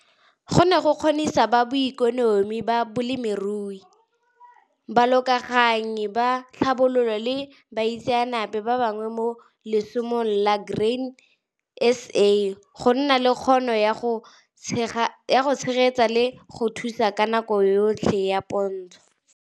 Go ne go kgonisa ba boekonomi ba bolemirui, Balokaganyi ba Tlhabololo le baitseanape ba bangwe mo lesomong la Grain SA go nna le kgono ya go tshegetsa le go thusa ka nako yotlhe ya pontsho.